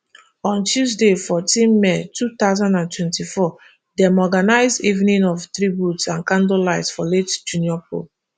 on tuesday fourteen may two thousand and twenty-four dem organise evening of tributes and candle light for late junior pope